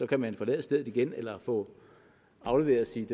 kan man forlade stedet igen eller få afleveret sit